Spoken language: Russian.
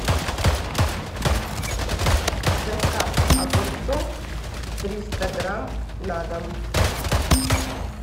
доставка огурцов триста грамм на дом